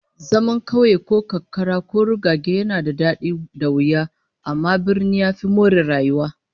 Zaman kauye ko karkara ko rugage yana da dadi da wuya, amma birni ya fi more rayuwa